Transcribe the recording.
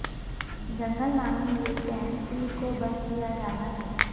جنگل نامی یہ کیمپ پیر کو بند کیا جانا ہے